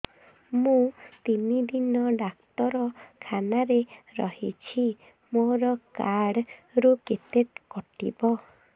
ମୁଁ ତିନି ଦିନ ଡାକ୍ତର ଖାନାରେ ରହିଛି ମୋର କାର୍ଡ ରୁ କେତେ କଟିବ